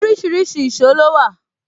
Orísìírísìí èsó ló wà